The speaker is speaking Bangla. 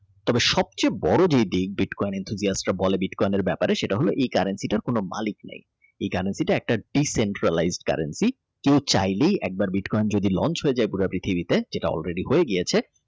তবে সবচেয়ে বড় বিটকয়েন ব্যাপারে এটা হল এ currency টার কোন মালিক নাই সেটা হল একটি Di Central lines currency কেউ চাইলে বিটকয়েন যদি একবার Launch হয়ে যায় পুরো পৃথিবীকে যেটা all ready হয়ে গিয়েছে